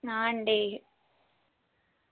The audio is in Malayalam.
ആ ഇണ്ടേയ്യ്